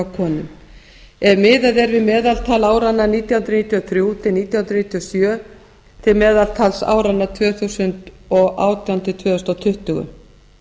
konum ef miðað er við meðaltal áranna nítján hundruð níutíu og þrjú til níutíu og sjö til meðaltals áranna tvö þúsund og átján til tvö þúsund tuttugu